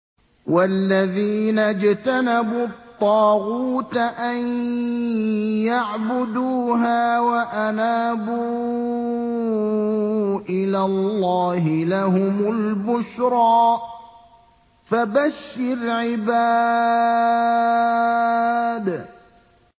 وَالَّذِينَ اجْتَنَبُوا الطَّاغُوتَ أَن يَعْبُدُوهَا وَأَنَابُوا إِلَى اللَّهِ لَهُمُ الْبُشْرَىٰ ۚ فَبَشِّرْ عِبَادِ